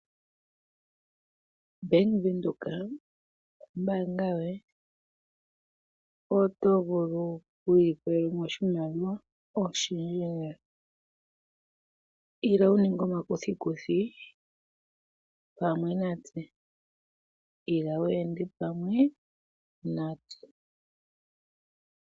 Bank Windhoek ombaanga yoye. Oto vulu oku ilikolela mo oshimaliwa oshindji lela. Ila wu ninge omakuthikuthi pamwe natse. Ila wu ende pamwe natse.